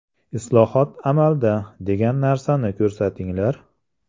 Islohot amalda, degan narsani ko‘rsatinglar.